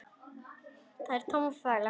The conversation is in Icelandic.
Það er tóm þvæla.